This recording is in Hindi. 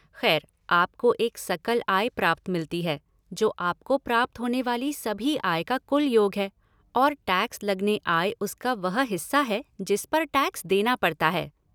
खैर, आपको एक सकल आय प्राप्त मिलती है, जो आपको प्राप्त होने वाली सभी आय का कुल योग है, और टैक्स लगने आय उसका वह हिस्सा है जिस पर टैक्स देना पड़ता है।